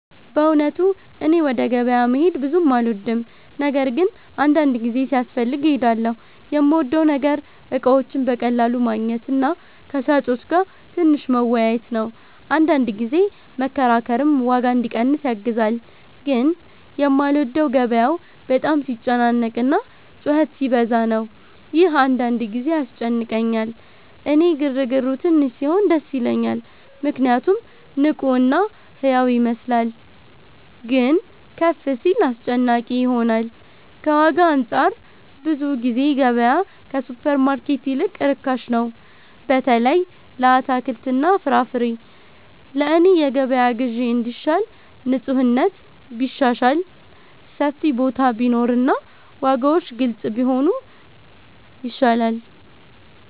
በእውነቱ እኔ ወደ ገበያ መሄድ ብዙ አልወድም፤ ነገር ግን አንዳንድ ጊዜ ሲያስፈልግ እሄዳለሁ። የምወደው ነገር እቃዎችን በቀላሉ ማግኘት እና ከሻጮች ጋር ትንሽ መወያየት ነው፤ አንዳንድ ጊዜ መከራከርም ዋጋ እንዲቀንስ ያግዛል። ግን የማልወደው ገበያው በጣም ሲጨናነቅ እና ጩኸት ሲበዛ ነው፤ ይህ አንዳንድ ጊዜ ያስጨንቀኛል። እኔ ግርግሩ ትንሽ ሲሆን ደስ ይለኛል ምክንያቱም ንቁ እና ሕያው ይመስላል፤ ግን ከፍ ሲል አስጨናቂ ይሆናል። ከዋጋ አንፃር ብዙ ጊዜ ገበያ ከሱፐርማርኬት ይልቅ ርካሽ ነው፣ በተለይ ለአትክልትና ፍራፍሬ። ለእኔ የገበያ ግዢ እንዲሻል ንፁህነት ቢሻሻል፣ ሰፊ ቦታ ቢኖር እና ዋጋዎች ግልጽ ቢሆኑ ይሻላል።